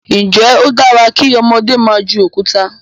njé o dára kí ọmọdé má jù Òkúta?